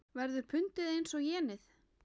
Verður pundið eins og jenið?